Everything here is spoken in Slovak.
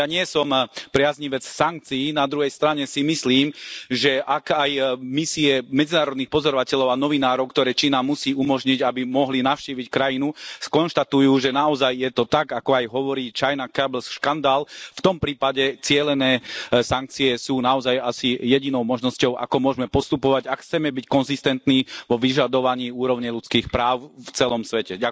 Ja nie som priaznivec sankcií, na druhej strane si myslím, že ak aj misie medzinárodných pozorovateľov a novinárov, ktoré Čína musí umožniť, aby mohli navštíviť krajinu, skonštatujú, že naozaj je to tak, ako to hovorí China Cabels škandál, v tom prípade cielené sankcie sú naozaj asi jedinou možnosťou, ako môžeme postupovať, ak chceme byť konzistentní vo vyžadovaní úrovne ľudských práv v celom svete.